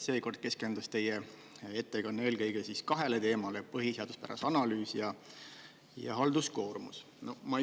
Seekord keskendus teie ettekanne eelkõige kahele teemale, põhiseaduspärasuse analüüsi ja halduskoormus.